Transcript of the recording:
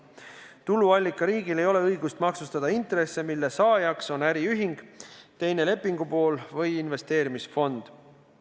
Tuluallikariigil ei ole õigust maksustada intresse, mille saajaks on äriühing, teine lepingupool või investeerimisfond.